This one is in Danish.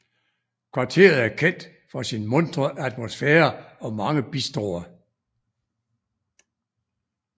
Kvarteret er kendt for sin muntre atmosfære og mange bistroer